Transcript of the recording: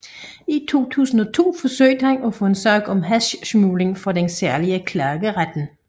I 2002 forsøgte han at få en sag om hashsmugling for den særlige klageret